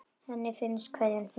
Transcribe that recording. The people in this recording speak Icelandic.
Henni finnst kveðjan fyndin.